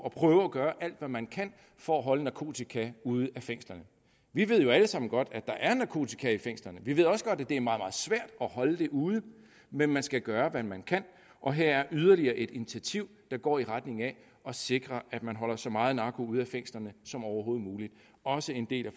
at prøve at gøre alt hvad man kan for at holde narkotika ude af fængslerne vi ved jo alle sammen godt at der er narkotika i fængslerne vi ved også godt at det er meget meget svært at holde det ude men man skal gøre hvad man kan og her er yderligere et initiativ der går i retning af at sikre at man holder så meget narko ude i fængslerne som overhovedet muligt også en del af